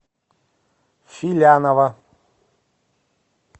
филянова